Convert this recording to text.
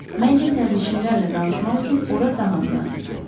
Məncə sərnişinlərlə danışmaq üçün ora daha münasibdir.